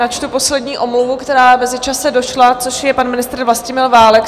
Načtu poslední omluvu, která v mezičase došla, což je pan ministr Vlastimil Válek.